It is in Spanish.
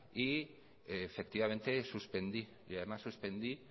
y efectivamente suspendí y además suspendí